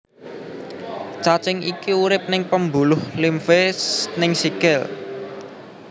Cacing iki urip ning pembuluh limfe ning sikil